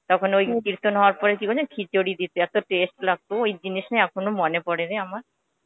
তখন ওই কৃতন হবার পরে খিচুরী দিতে আসত taste লাগতো ওই জিনিষ নিয়ে এখনো মনে পরে রে আমার.